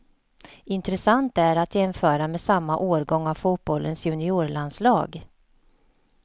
Intressant är att jämföra med samma årgång av fotbollens juniorlandslag.